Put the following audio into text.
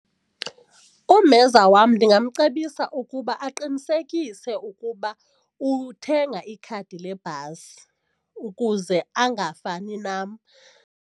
Umenza wam ndingamcebisa ukuba aqinisekise ukuba uthenga ikhadi lebhasi ukuze angafani nam.